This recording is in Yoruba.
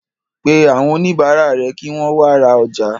Pé àwọn oníbàárà rẹ̀ kí wọ́n wa ra ọjà.